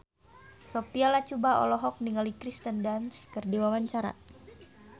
Sophia Latjuba olohok ningali Kirsten Dunst keur diwawancara